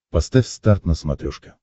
поставь старт на смотрешке